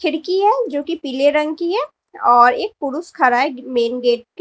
खिड़की है जो कि पीले रंग की है और एक पुरुष खड़ा है मेन गेट पे।